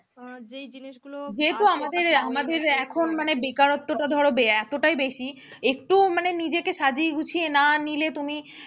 যেহেতু আমাদের এখন মানে বেকারত্বটা ধরো এতোটাই বেশি, একটু নিজেকে সাজিয়ে গুছিয়ে না নিলে তুমি,